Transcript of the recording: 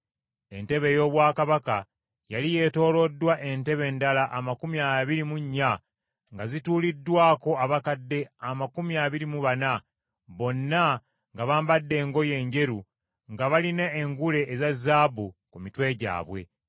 Entebe ey’obwakabaka yali yeetooloddwa entebe endala amakumi abiri mu nnya nga zituuliddwako abakadde amakumi abiri mu bana, bonna nga bambadde engoye enjeru nga balina engule eza zaabu ku mitwe gyabwe.